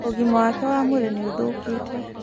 ũgima wake wa mwĩrĩ nĩũthũkĩte.